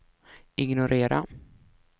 ignorera